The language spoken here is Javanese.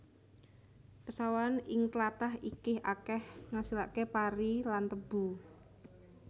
Pesawahan ing tlatah iki akeh ngasilake pari lan tebu